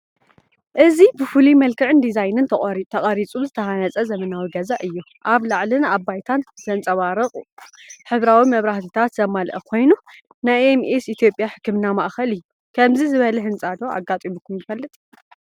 እዚ ብፍሉይ መልክዕን ዲዛይንን ተቐሪፁ ዝተሃፀ ዘመናዊ ገዛ እዩ፡፡ ኣብ ላዕሊን ኣብ ባይታን ዘንፀባርቑ ሕብራዊ መብራህትታት ዘማልአ ኮይኑ ናይ ኤም ኤስ ኢ/ያ ሕክምና ማእኸል እዩ፡፡ ከምዚ ዝበለ ህንፃ ዶ ኣጋጢሙኩም ይፈልጥ?